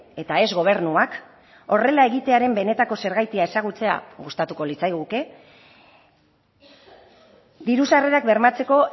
eta ez gobernuak horrela egitearen benetako zergatia ezagutzea gustatuko litzaiguke diru sarrerak bermatzeko